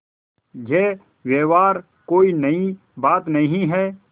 यह व्यवहार कोई नई बात नहीं है